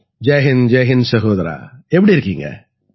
ஜெய் ஹிந்த் ஜெய் ஹிந்த் சகோதரா எப்படி இருக்கீங்க